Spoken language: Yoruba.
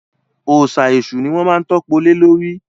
Òòsà èṣù ni wọ́n má ń tọ́po lé lórí